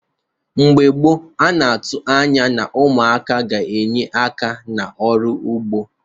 Igbo gboo na-atụ anya na umụaka ga-enye aka n'ọrụ ụgbọ